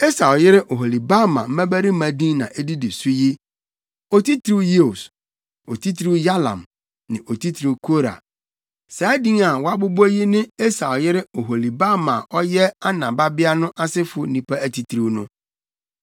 Esau yere Oholibama mmabarima din na edidi so yi: Otitiriw Yeus, Otitiriw Yalam ne Otitiriw Kora. Saa din a wɔabobɔ yi ne Esau yere Oholibama a ɔyɛ Ana babea no asefo nnipa atitiriw no.